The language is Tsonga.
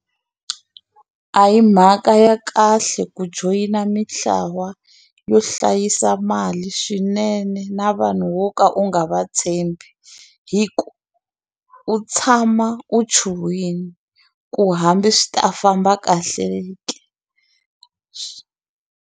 A hi mhaka ya kahle ku joyina mitlawa yo hlayisa mali swinene na vanhu wo ka u nga va tshembi hi ku u tshama u chuhile ku hambi swi ta famba kahle ke.